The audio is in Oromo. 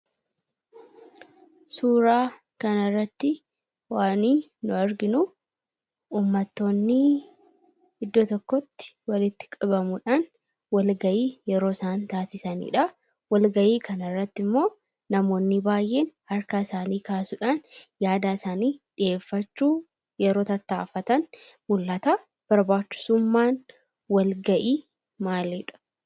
Suuraa kana irratti waani nu arginu, uummatoonni iddoo tokkotti walitti qabamuudhaan walgahii yeroo isaan taasisanidha. Walgahii kanarratti immoo namootni baayyeen harka isaanii kaasuudhaan yaada isaanii dhiheeffachuuf yeroo tattaafatan mul'ata, barbaachisummaan walgahii maalidha?